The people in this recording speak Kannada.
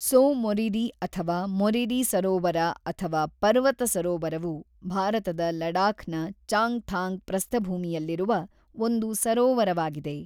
ತ್ಸೋ ಮೊರಿರಿ ಅಥವಾ ಮೊರಿರಿ ಸರೋವರ ಅಥವಾ ಪರ್ವತ ಸರೋವರವು ಭಾರತದ ಲಡಾಖ್‌ನ ಚಾಂಗ್‌ಥಾಂಗ್ ಪ್ರಸ್ಥಭೂಮಿಯಲ್ಲಿರುವ ಒಂದು ಸರೋವರವಾಗಿದೆ.